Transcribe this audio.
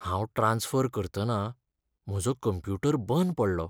हांव ट्रांस्फर करतना म्हजो कंप्युटर बंद पडलो.